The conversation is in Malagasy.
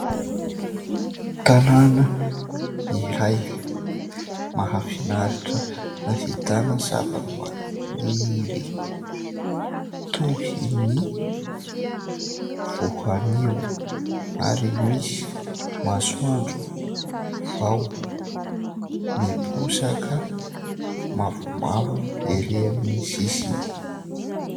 tanàna iray mahafinaritra hahitana zava -maniry toy ny voanio ary misy masoandro vao miposaka ;mavomavo ery amin'ny sisiny